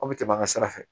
Aw bɛ tɛmɛ an ka sira fɛ